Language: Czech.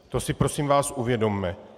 To si prosím vás uvědomme.